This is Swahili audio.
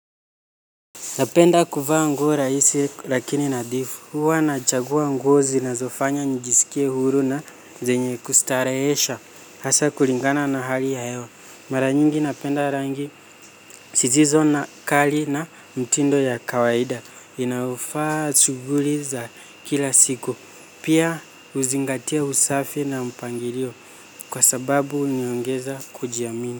Napenda kuvaa nguo rahisi lakini nadhifu, huwa nachagua nguo zinazofanya nijisikie huru na zenye kustarehesha, hasa kulingana na hali ya hewa. Mara nyingi napenda rangi, zisizo na kali na mtindo ya kawaida, inafaa shughuli za kila siku, pia huzingatia usafi na mpangilio kwa sababu unaongeza kujiamini.